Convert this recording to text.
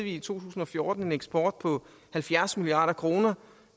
i to tusind og fjorten en eksport på halvfjerds milliard kroner